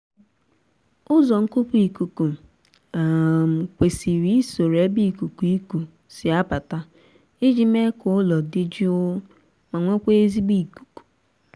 ụzọ nkupu ikuku um kwesiri isoro ebe ikuku iku si abata iji mee ka ụlọ dị jụụ ma nwekwaa ezigbo ikuku